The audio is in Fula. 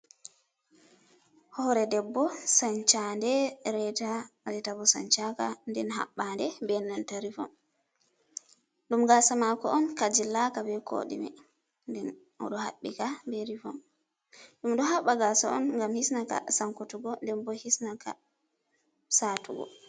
Hore debbo sanchande reta, reta bo sanchaka nden haɓɓande be nanta rivon. Ɗum gasa mako on ka jillaka be koɗime nden oɗo haɓɓika be rivon. Ɗum ɗo haɓɓa gasa on ngam hisna ka sankutuggo, nde bo hisnaka satugo.